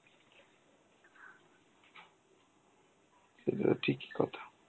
সেটা তো ঠিকই কথা.